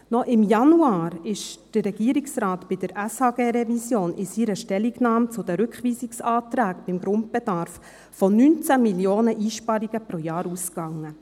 Noch im Januar ging der Regierungsrat bei der SHG-Revision in seiner Stellungnahme zu den Rückweisungsanträgen beim Grundbedarf von 19 Mio. Franken Einsparungen pro Jahr aus.